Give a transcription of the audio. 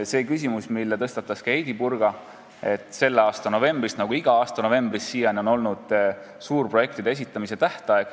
Heidy Purga tõstatas küsimuse seoses sellega, et ka selle aasta novembris on nagu seni iga aasta novembris suurprojektide esitamise tähtaeg.